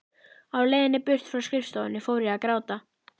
Á leiðinni burt frá skrifstofunni fór ég að gráta.